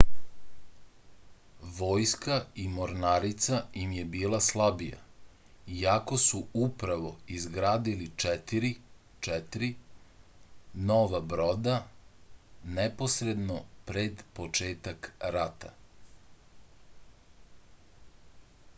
војска и морнарица им је била слабија иако су управо изградили четири 4 нова брода непосредно пред почетак рата